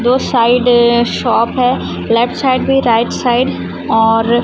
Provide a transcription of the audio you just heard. दो side shop है left side भी राइट साइड और--